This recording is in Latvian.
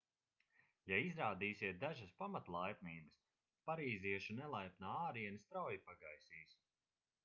ja izrādīsiet dažas pamatlaipnības parīziešu nelaipnā āriene strauji pagaisīs